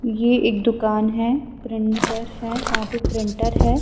. یہ ایک دکان ہیں پرنٹر ہیں وہا پی پرنٹر ہیں